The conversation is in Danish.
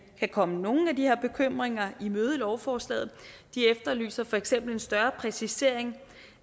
kan komme nogle af de her bekymringer i møde i lovforslaget de efterlyser for eksempel en større præcisering